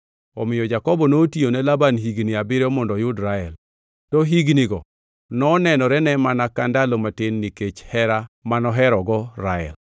Omiyo Jakobo notiyone Laban higni abiriyo mondo oyud Rael, to hignigo nonenorene mana ka ndalo matin nikech hera manoherogo Rael.